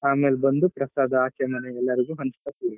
ಆಮೇಲ್ ಬಂದು ಪ್ರಸಾದ ಆಚೆ ಮನೆಗೆಲ್ಲರಿಗೂ ಹಂಚ್ಕೋತೀವಿ.